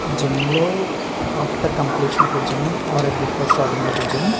Gym లో after completion of gym or before starting of gym .